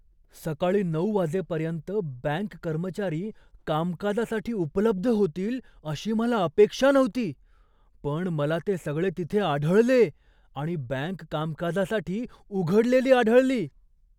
सकाळी नऊ वाजेपर्यंत बँक कर्मचारी कामकाजासाठी उपलब्ध होतील अशी मला अपेक्षा नव्हती, पण मला ते सगळे तिथे आढळले आणि बँक कामकाजासाठी उघडलेली आढळली!